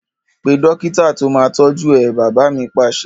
Pe dókítà to máa tọju ẹ! Bàbá mi Pàṣẹ